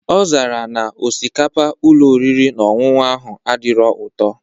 Ọzara na osikapa Ụlọ oriri na ọṅụṅụ ahụ adirọ ụtọ